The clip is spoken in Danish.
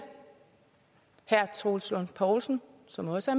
herre troels lund poulsen som jo også